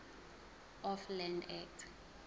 of land act